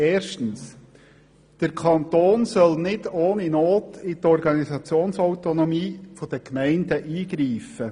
Erstens soll der Kanton nicht ohne Not in die Organisationsautonomie der Gemeinden eingreifen.